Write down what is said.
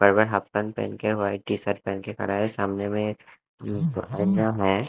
Half pant पहन के white T shirt पहन के खड़ा है सामने में है।